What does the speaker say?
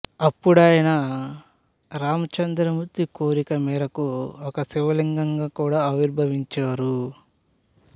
ఇప్పుడాయన రామచంద్రమూర్తి కోరిక మేరకు ఒక శివలింగంగా కూడా ఆవిర్భవించారు